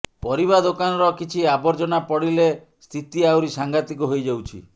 ପରିବା ଦୋକାନର କିଛି ଆବର୍ଜନା ପଡ଼ିଲେ ସ୍ଥିତି ଆହୁରି ସାଂଘାତିକ ହୋଇଯାଉଛି